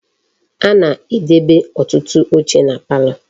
A na-edebe otutu oche na palo.